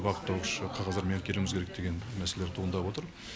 бағыттаушы қағаздармен әкелуіміз керек деген мәселелер туындап отыр